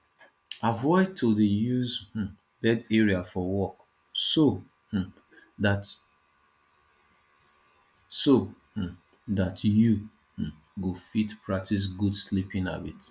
avoid to dey use your um bed area for work so um dat so um dat you um go fit practice good sleeping habit